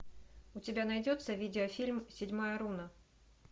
у тебя найдется видеофильм седьмая руна